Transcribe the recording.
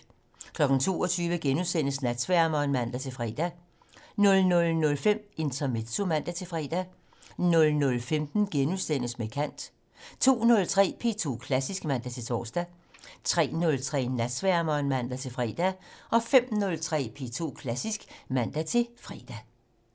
22:00: Natsværmeren *(man-fre) 00:05: Intermezzo (man-fre) 00:15: Med kant * 02:03: P2 Klassisk (man-tor) 03:03: Natsværmeren (man-fre) 05:03: P2 Klassisk (man-fre)